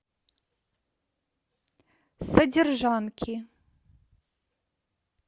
содержанки